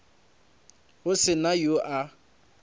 go se na yo a